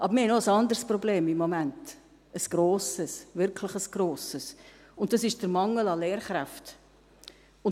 Aber wir haben im Moment noch ein anderes Problem – ein grosses, ein wirklich grosses –, und das ist der Mangel an Lehrkräften.